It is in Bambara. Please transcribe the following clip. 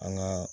An ka